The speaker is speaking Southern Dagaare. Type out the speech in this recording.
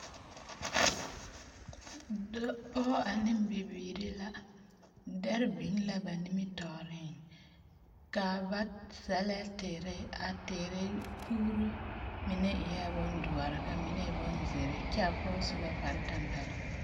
Dɔ pɔge ane bibiiri la. Dɛre biŋ la ba nimitɔɔreŋ, ka, ba sɛlɛ teere, a teere puuri mine eɛ bondoɔre ka mine e bonzeere kyaa pɔge su la kparetampɛloŋ.